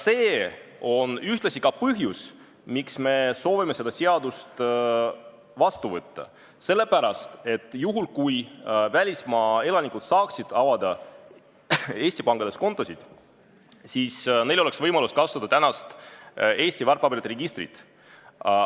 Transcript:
See on ühtlasi ka põhjus, miks me soovime seda seadust vastu võtta – selle pärast, et juhul, kui välismaa elanikud saaksid Eesti pankades kontosid avada, siis oleks neil võimalus kasutada Eesti väärtpaberite registrit.